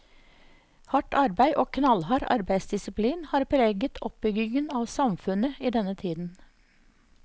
Hardt arbeid og knallhard arbeidsdisplin har preget oppbygginga av samfunnet i denne tiden.